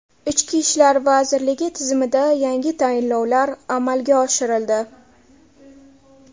Ichki ishlar vazirligi tizimida yangi tayinlovlar amalga oshirildi.